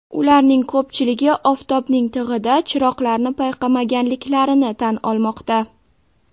Ularning ko‘pchiligi oftobning tig‘ida chiroqlarni payqamaganliklarini tan olmoqda.